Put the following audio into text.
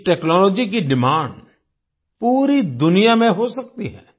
इस टेक्नोलॉजी की डिमांड पूरी दुनिया में हो सकती है